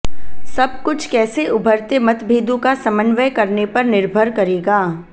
सब कुछ कैसे उभरते मतभेदों का समन्वय करने पर निर्भर करेगा